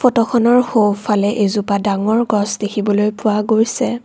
ফটোখনৰ সোঁফালে এজোপা ডাঙৰ গছ দেখিবলৈ পোৱা গৈছে।